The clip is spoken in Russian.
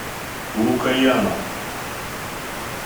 лукоянов